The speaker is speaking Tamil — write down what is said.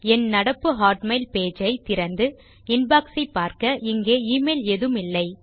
என் நடப்பு ஹாட்மெயில் பேஜ் ஐ திறந்து இன்பாக்ஸ் ஐ பார்க்க இங்கே எமெயில் எதுவும் இல்லை